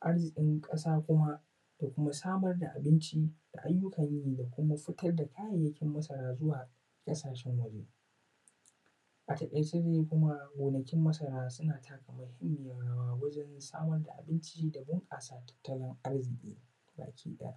arzikin ƙasa kuma da kuma samar da abinci da aiyukan yi da kuma sarafa da kayan masara zuwa ƙasashen waje, a taƙaice dai kuma gonakin masara suna taka muhimmiyar rawa wajen samar da abinci da bunƙasa tattalin arziki a ƙasa baki ɗaya